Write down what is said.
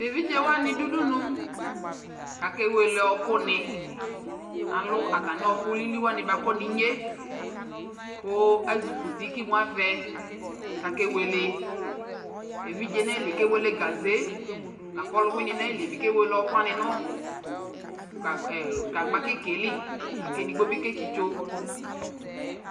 Tʋ evidze wanɩ dʋ udunu kʋ akewele ɔɣɔkʋnɩ Alʋ atamɩ ɔɣɔkʋ lili wanɩ bakɔ nʋ inye kʋ azikuti kʋ imu avɛ kʋ akewele Evidze nʋ ayili kewele gaze la kʋ ɔlʋwɩnɩ nʋ ayili yɛ kewele ɛkʋ wanɩ nʋ gagb e gagba kɩka yɛ li la kʋ edigbo bɩ ketsitso